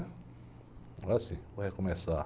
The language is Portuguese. Agora sim, vou recomeçar.